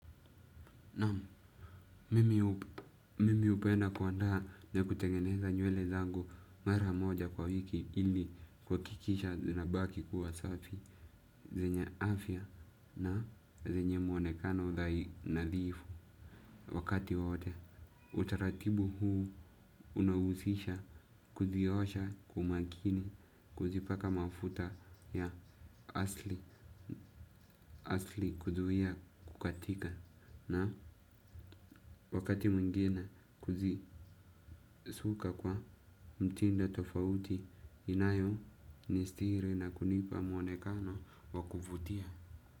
Naam mimi hupenda kuandaa na kutengeneza nywele zangu mara moja kwa wiki ili kuhakikisha zinabaki kuwa safi zenye afya na zenye muonekano nadhifu wakati wote. Utaratibu huu unahusisha kuziosha kwa makini kuzipaka mafuta ya asili kuzuia kukatika. Na wakati mwingine kuzisuka kwa mtindo tofauti inayonistiri na kunipa mwonekano wa kuvutia.